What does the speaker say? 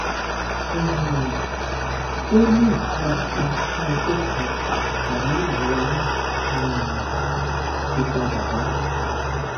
um ó ní ìtura kan fún ọjọ kan àmọ ìrora náà um ti padà wá